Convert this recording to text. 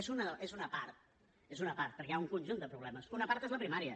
és una part és una part perquè hi ha un conjunt de problemes i una part és la primària